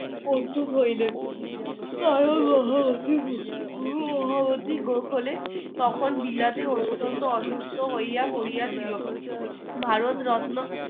প্রস্তুত হইলেন তখন বিলাতে অত্যন্ত অসুস্থ হইয়া পড়িয়াছিল ভারত রত্ন